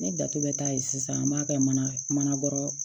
Ne dato bɛ taa yen sisan an b'a kɛ mana mana kɔrɔ